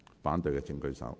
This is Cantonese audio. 反對的請舉手。